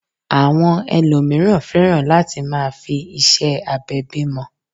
Àwọn ẹlòmíràn fẹ́ràn lati máa fi ìṣe abẹ bímọ